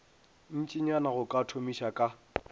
ntšinyana go ka thomiša ka